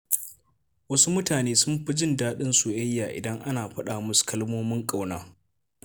Wasu mutane sun fi jin daɗin soyayya idan ana faɗa musu kalmomin ƙauna.